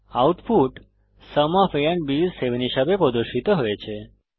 output sum of a and b is 7 হিসাবে প্রদর্শিত হয়েছে